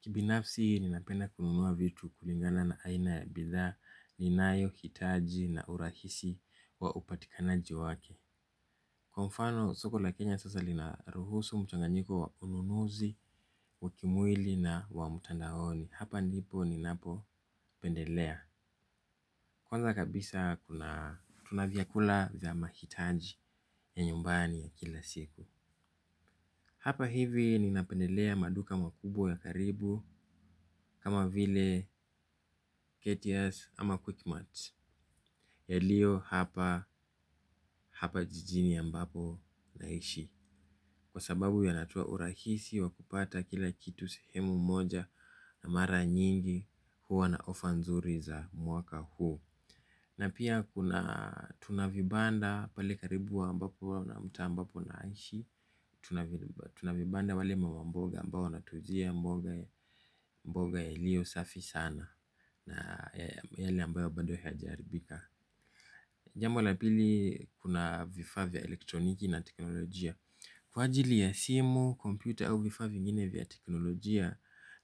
Kibinafsi ninapenda kununua vitu kulingana na aina ya bidhaa, ninayo, hitaji na urahisi wa upatikanaji wake. Kwa mfano, soko la Kenya sasa linaruhusu mchanganyiko wa ununuzi, wakimwili na wa mtandaoni. Hapa ndipo ninapopendelea. Kwanza kabisa tuna vyakula vya mahitaji ya nyumbani ya kila siku. Hapa hivi ninapendelea maduka makubwa ya karibu kama vile Ketias ama quick mart yaliyo hapa hapa jijini ambapo naishi kwa sababu yanatoa urahisi wa kupata kila kitu sehemu moja na mara nyingi huwa na ofa nzuri za mwaka huu. Na pia tuna vibanda pale karibu wa ambapo na mtaa ambapo naishi. Tuna vibanda wale mama mboga ambao wanatuuzia mboga mboga yalio safi sana. Na yaani ambayo bado haijaharibika. Jambo la pili kuna vifaa vya elektroniki na teknolojia. Kwa ajili ya simu, kompyuta au vifaa vifaa vingine vya teknolojia.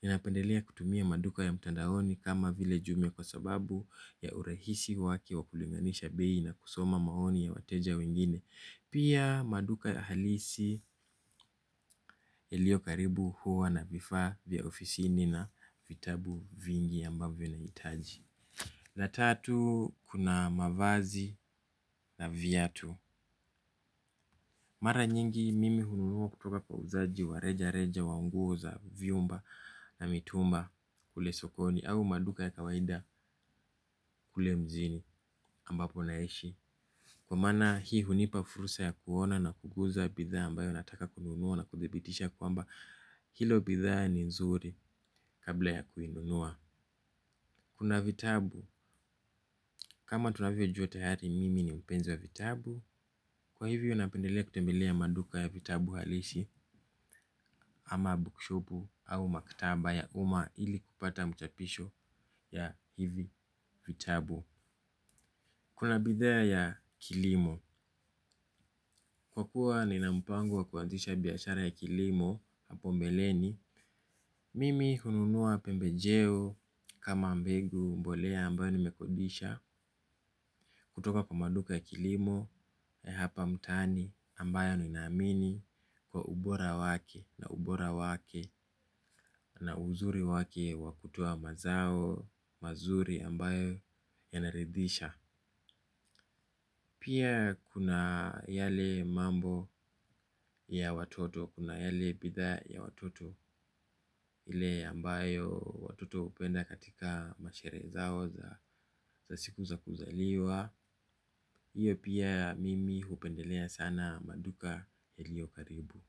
Ninapendelea kutumia maduka ya mtandaoni kama vile jumia kwa sababu ya urahisi wake wa kulinganisha bei na kusoma maoni ya wateja wengine. Pia maduka halisi yaliyo karibu huwa na vifaa vya ofisini na vitabu vingi ambavyo nahitaji. Na tatu, kuna mavazi na viatu. Mara nyingi mimi hununua kutoka kwa uzaji wa reja reja wa nguo za viumba na mitumba kule sokoni au maduka ya kawaida kule mjini ambapo naishi kwa maana hii hunipa fursa ya kuona na kugusa bidhaa ambayo nataka kununua na kudhibitisha kwamba hiyo bidhaa ni nzuri kabla ya kuinunua. Kuna vitabu, kama tunavyo jua tayari mimi ni mpenzi wa vitabu, kwa hivyo napendelea kutembelea maduka ya vitabu halisi ama bookshopu au maktaba ya uma ili kupata mchapisho ya hivi vitabu. Kuna bidhaa ya kilimo. Kwa kuwa nina mpango wa kuanzisha biashara ya kilimo hapo mbeleni. Mimi hununua pembejeo kama mbegu mbolea ambayo nimekodisha kutoka kwa maduka ya kilimo ya hapa mtaani ambayo ninaamini kwa ubora wake na ubora wake na uzuri wake wakutoa mazao, mazuri ambayo yanaridisha. Pia kuna yale mambo ya watoto, kuna yale bidhaa ya watoto ile ambayo watoto hupenda katika masherehe zao za siku za kuzaliwa hiyo pia mimi hupendelea sana maduka yaliyo karibu.